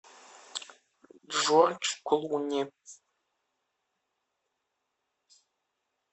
джордж клуни